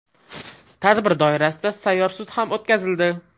Tadbir doirasida sayyor sud ham o‘tkazildi.